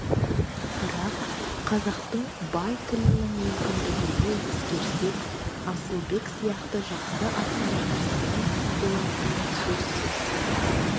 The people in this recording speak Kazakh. бірақ қазақтың бай тілінің мүмкіндігіне ескерсек асылбек сияқты жақсы ақындарға сын болатыны сөзсіз